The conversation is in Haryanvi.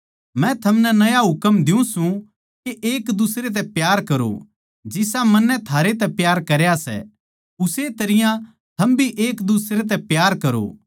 मै थमनै नया हुकम द्यु सूं के एक दुसरे तै प्यार करो जिसा मन्नै थारैतै प्यार करया सै उस्से तरियां थम भी एक दुसरे तै प्यार करो